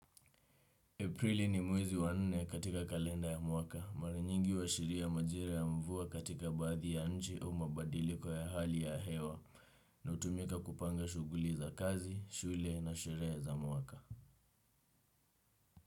Aprili ni mwezi wanne katika kalenda ya mwaka, maranyingi uwashiria majira ya mvua katika baadhi ya nchi au mabadiliko ya hali ya hewa, na utumika kupanga shuguli za kazi, shule na sheree za mwaka.